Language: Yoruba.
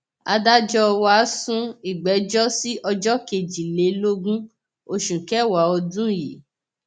adájọ wa á sún ìgbẹjọ sí ọjọ kejìlélógún oṣù kẹwàá ọdún yìí